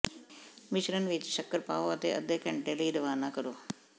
ਮਿਸ਼ਰਣ ਵਿਚ ਸ਼ੱਕਰ ਪਾਓ ਅਤੇ ਅੱਧੇ ਘੰਟੇ ਲਈ ਰਵਾਨਾ ਕਰੋ